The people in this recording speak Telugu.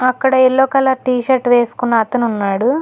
అక్కడ యెల్లో కలర్ టీ షర్ట్ వేసుకున్న అతనున్నాడు.